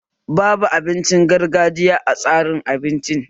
Babu abincin gargajiya a tsarin abincin